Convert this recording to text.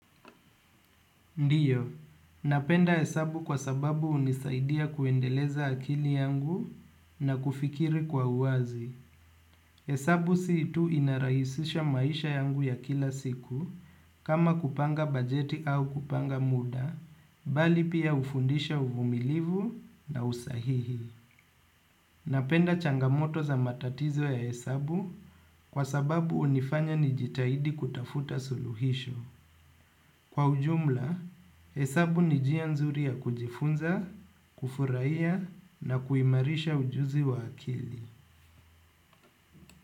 Ndio, napenda hesabu kwa sababu hunisaidia kuendeleza akili yangu na kufikiri kwa uwazi. Hesabu si tu inarahisisha maisha yangu ya kila siku kama kupanga bajeti au kupanga muda, bali pia hufundisha uvumilivu na usahihi. Napenda changamoto za matatizo ya hesabu kwa sababu hunifanya nijitahidi kutafuta suluhisho. Kwa ujumla, hesabu ni njia nzuri ya kujifunza, kufurahia na kuimarisha ujuzi wa akili.